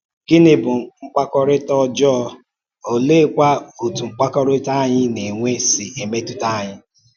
Gịnị bụ mkpàkọrịta ọjọọ, óleekwa otú mkpàkọrịta anyị na-enwe si emetụta anyị?